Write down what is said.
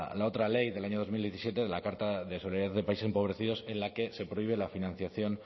la otra ley del año dos mil diecisiete de la carta de solidaridad de países empobrecidos en la que se prohíbe la financiación